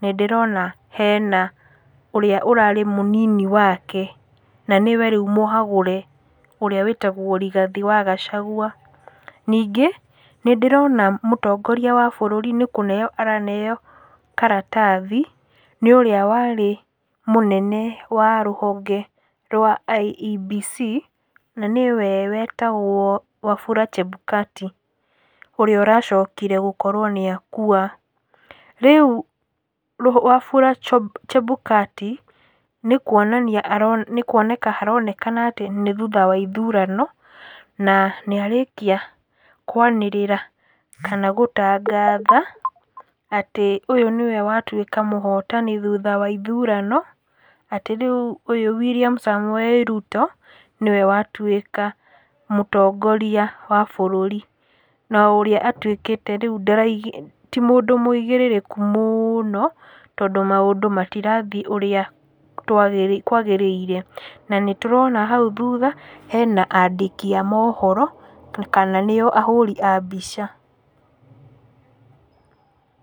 nĩ ndĩrona he na ũrĩa ũrarĩ mũnini wake, na nĩwe rĩu mũhagũre, ũrĩa wĩtagwo Rigathĩ wa Gachagua. Ningĩ, nĩ ndĩrona mũtongoria wa bũrũri nĩ kũneo araneo karatathi nĩ ũrĩa warĩ mũnene wa rũhonge rwa IEBC, na nĩwe wetagwo Wafula Chebukati, ũrĩa ũracokire gũkorwo nĩ akua. Rĩu, Wafula Chebukati nĩ kuonanania nĩ kuoneka aroneka atĩ nĩ thutha wa ithurano, na nĩ arĩkia kwanĩrĩra kana gũtangatha, atĩ ũyũ nĩwe watuĩka mũhotani thutha wa ithurano, atĩ rĩu ũyũ William Samoei Ruto, nĩwe watuĩka mũtongoria wa bũrũri. na ũrĩa atuĩkĩte atĩ rĩuti ndara, ti mũndũ mũigĩrĩrĩku mũno, tondũ maũndũ matirathiĩ ũrĩatwagĩrĩire kwagĩrĩire. Na nĩ tũrona hau thutha hena andĩki a mohoro, kana nĩo ahũri a mbica.